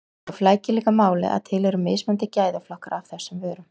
Þá flækir líka málið að til eru mismunandi gæðaflokkar af þessum vörum.